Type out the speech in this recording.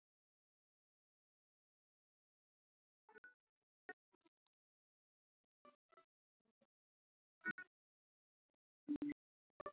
Þegar líkamshiti hækkar áreitir það sérstaka hitanema í húðinni.